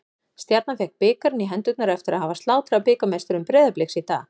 Stjarnan fékk bikarinn í hendurnar eftir að hafa slátrað bikarmeisturum Breiðabliks í dag.